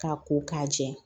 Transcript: K'a ko k'a jɛ